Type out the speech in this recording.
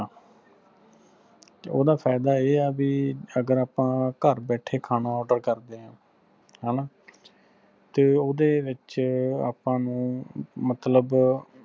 ਓਹਦਾ ਫਾਇਦਾ ਏਹ੍ਹ ਆ ਵੀ ਅਗਰ ਆਪਾ ਘਰ ਬੈਠੇ ਖਾਣਾ order ਕਰਦੇ ਆ ਹਣਾ ਤੇ ਓਹਦੇ ਵਿੱਚ ਆਪਾ ਨੂੰ ਮਤਲਬ